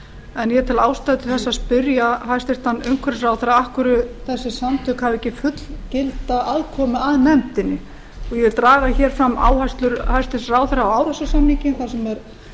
en ég tel ástæðu til þess að spyrja hæstvirtur umhverfisráðherra af hverju þessi samtök hafi ekki fullgilda aðkomu að nefndinni og ég vil draga hér fram áherslur hæstvirtur ráðherra á árósasamninginn þar sem er